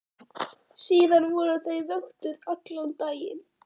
Síðan voru þau vöktuð allan daginn.